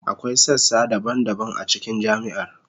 Akwai sassa daban-daban a cikin jami'ar.